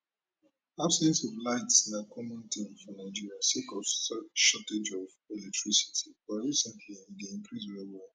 absence of light na common tin for nigeria sake of sor shortage of electricity but recently e dey increase well well